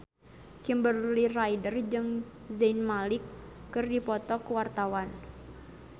Kimberly Ryder jeung Zayn Malik keur dipoto ku wartawan